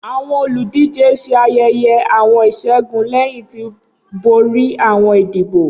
Awọn oludije ṣe ayẹyẹ awọn iṣẹgun lẹhin ti bori awọn idibo.